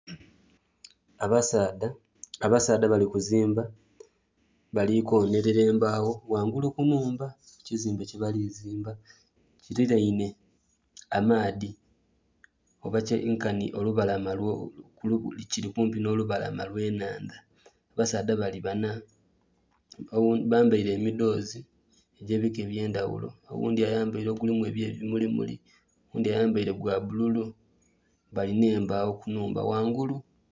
Abasaadha, abasaadha bali kuzimba bali konhelera embaawo ghangulu ku nhumba kukizimbe kyebali zimba kililainhe amaadhi oba nkanhi kiri kumpi n'olubalama olwe inhandha abasaadha banho bali banna bambaire emidhoozi egye bika ebye ndhaghulo, oghundhi ayambaire ogulimu ebye bimuli muli, oghundhi ayambaire gwa bbululu bali nhe embagho ku nhumba ghaigulu.